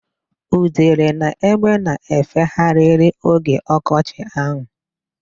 Udele na egbe na-efegharịrị oge ọkọchị ahụ.